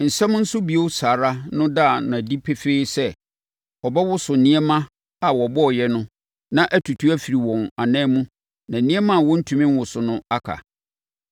Nsɛm “Nso bio saa ara” no da no adi pefee sɛ ɔbɛwoso nneɛma a wɔbɔeɛ no na atutu afiri wɔn ananmu na nneɛma a wɔntumi nwoso no aka.